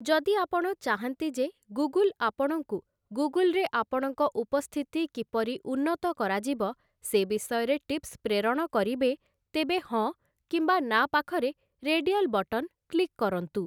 ଯଦି ଆପଣ ଚାହାଁନ୍ତି ଯେ ଗୁଗୁଲ୍ ଆପଣଙ୍କୁ ଗୁଗୁଲ୍‌ରେ ଆପଣଙ୍କ ଉପସ୍ଥିତି କିପରି ଉନ୍ନତ କରାଯିବ, ସେ ବିଷୟରେ ଟିପ୍ସ ପ୍ରେରଣ କରିବେ, ତେବେ ହଁ କିମ୍ୱା ନା ପାଖରେ ରେଡିଆଲ୍ ବଟନ୍ କ୍ଲିକ୍ କରନ୍ତୁ ।